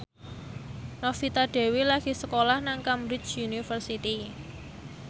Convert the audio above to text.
Novita Dewi lagi sekolah nang Cambridge University